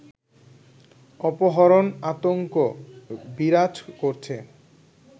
অপহরণ আতঙ্ক বিরাজ করছে